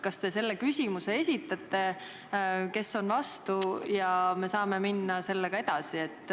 Kas te esitate küsimuse, kes on vastu, ja me saame edasi minna?